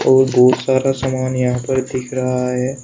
और बहुत सारा सामान यहां पर दिख रहा है।